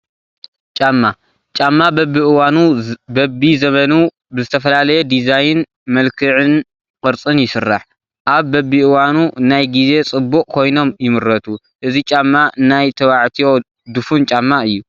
ጫማ፡- ጫማ በቢ እዋኑ በቢ ዘበኑ ብዝተፈላለየ ዲዛይን፣ መልክዕን ቅርፅን ይስራሕ፡፡ ኣብ በቢእዋኑ ናይ ጊዜ ፅቡቕ ኮይኖም ይምረቱ፡፡ እዚ ጫማ ናይ ተባዕትዮ ዱፉን ጫማ እዩ፡፡